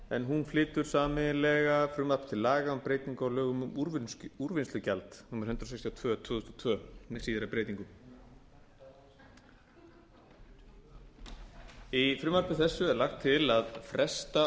en hún flytur sameiginlega frumvarp til laga um breytingu á lögum um úrvinnslugjald númer hundrað sextíu og tvö tvö þúsund og tvö með síðari breytingum í frumvarpi þessu er lagt til að fresta